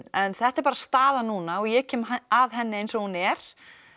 en þetta er bara staðan núna og ég kem að henni eins og hún er